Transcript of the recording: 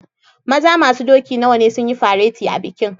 Maza masun doki nawa ne sun yi fareti a'bikin?